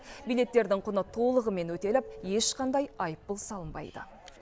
билеттердің құны толығымен өтеліп ешқандай айыппұл салынбайды